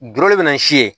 Dɔrɔmɛ bi naani si ye